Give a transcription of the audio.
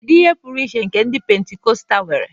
Kedu ihe pụrụ iche nke ụka Pentikọstal nwere?